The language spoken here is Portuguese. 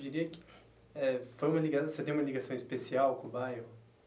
Diria que eh foi uma liga você tem uma ligação especial com o bairro?